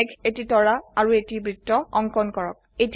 এটি মেঘ এটি তৰা আৰু এটি বৃত্ত অঙ্কন কৰক